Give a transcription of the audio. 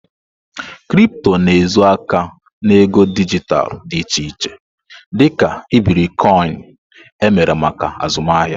Kripto na-ezo aka na ego dijitalụ dị iche iche dị ka iberikoinu, emere maka azụmahịa.